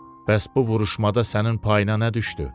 Bəs bu vuruşmada sənin payına nə düşdü?